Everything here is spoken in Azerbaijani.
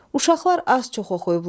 Uşaqlar az-çox oxuyublar.